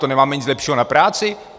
To nemáme nic lepšího na práci?